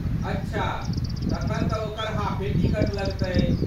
अच्छा, तखन तँ ओकर हाफे टिकट लगतै।